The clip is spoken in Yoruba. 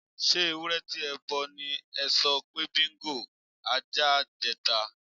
S̩e ewúré̩ ti e̩ bo̩ ni e̩ so̩ pé Bingo (ajá) je̩ tán?